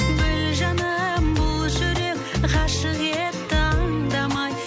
біл жаным бұл жүрек ғашық етті аңдамай